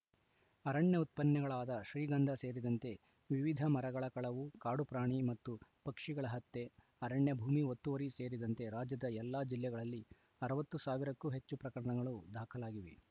ಅರಣ್ಯ ಉತ್ಪನ್ನೆಗಳಾದ ಶ್ರೀಗಂಧ ಸೇರಿದಂತೆ ವಿವಿಧ ಮರಗಳ ಕಳವು ಕಾಡು ಪ್ರಾಣಿ ಮತ್ತು ಪಕ್ಷಿಗಳ ಹತ್ಯೆ ಅರಣ್ಯ ಭೂಮಿ ಒತ್ತುವರಿ ಸೇರಿದಂತೆ ರಾಜ್ಯದ ಎಲ್ಲ ಜಿಲ್ಲೆಗಳಲ್ಲಿ ಅರವತ್ತು ಸಾವಿರಕ್ಕೂ ಹೆಚ್ಚು ಪ್ರಕರಣಗಳು ದಾಖಲಾಗಿವೆ